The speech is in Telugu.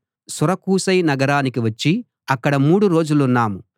సురకూసై నగరానికి వచ్చి అక్కడ మూడు రోజులున్నాం